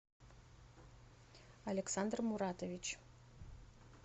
александр муратович